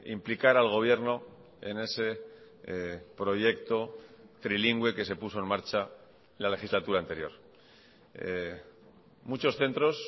implicar al gobierno en ese proyecto trilingüe que se puso en marcha la legislatura anterior muchos centros